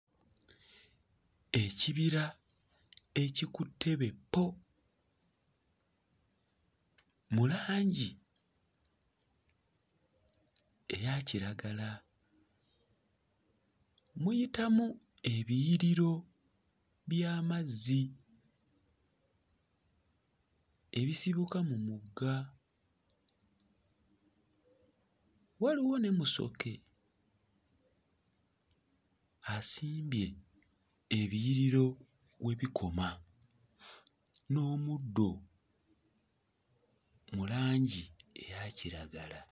Ekibira ekikutte bwe ppo mu langi eya kiragala. Muyitamu ebiyiriro by'amazzi ebisibuka mu mugga. Waliwo ne Musoke asimbye ebiyiriro we bikoma, n'omuddo mu langi eya kiragala.